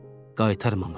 Qaytarmamışdı.